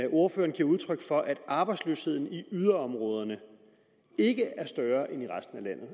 ordføreren giver udtryk for at arbejdsløsheden i yderområderne ikke er større end i resten af landet